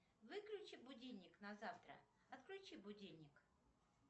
выключи будильник на завтра отключи будильник